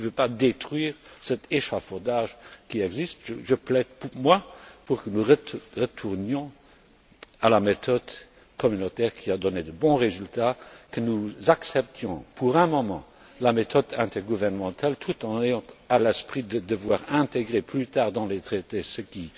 Vous ne pouvez pas détruire cet échafaudage qui existe. Je plaide pour que nous retournions à la méthode communautaire qui a donné de bons résultats, que nous acceptions, pour un moment, la méthode intergouvernementale, tout en ayant à l'esprit de devoir intégrer plus tard dans les traités ce